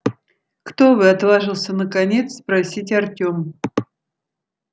кто вы отважился наконец спросить артём